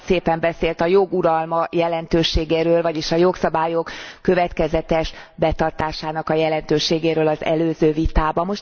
Ön olyan szépen beszélt a jog uralma jelentőségéről, vagyis a jogszabályok következetes betartásának a jelentőségéről az előző vitában.